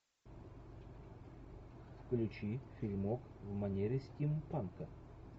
включи фильмок в манере стимпанка